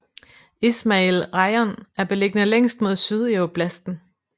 Izmajil rajon er beliggende længst mod syd i oblasten